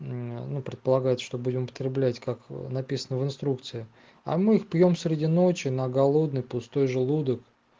ну предполагается что будем употреблять как написано в инструкции а мы их пьём среди ночи на голодный пустой желудок